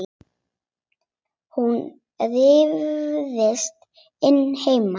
Hún ryðst inn heima.